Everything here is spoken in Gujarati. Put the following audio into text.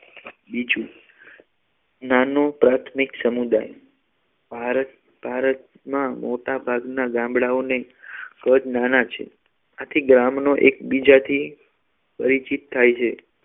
બીજું નાનુ પ્રાથમિક સમુદાય ભારત ભારતમાં મોટાભાગના ગામડાઓને કદ નાના છે આથી ગામનો એકબીજાથી પરિચિત થાય છે